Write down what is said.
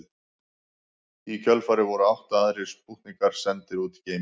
Í kjölfarið voru átta aðrir spútnikar sendir út í geiminn.